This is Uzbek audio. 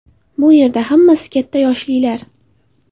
Bu yerda hammasi katta yoshlilar.